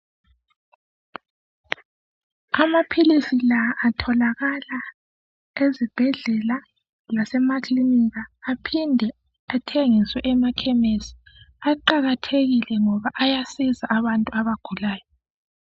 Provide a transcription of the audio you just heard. Amaphilisi la atholakala ezibhedlela, lase ma clinika aphinde athengiswe emakhemesi. Aqakathekile ngoba ayasiza abantu abagulayo